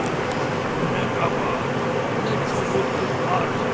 Uf, nə qaba, nə kobud qızlarsız.